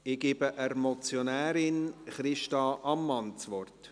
Ich gebe der Motionärin, Christa Ammann, das Wort.